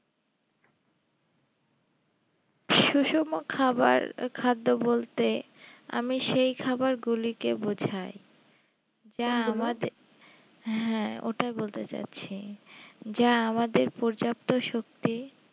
সুষম খাবার খাদ্য বলতে আমি সেই খাবারগুলিকে বোঝাই হ্যাঁ ওটাই বলতে চাইছি যা আমাদের পর্যাপ্ত শক্তি